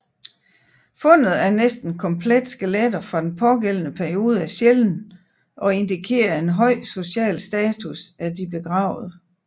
Fundet af næsten komplette skeletter fra den pågældende periode er sjælden og indikerer en høj social status af de begravede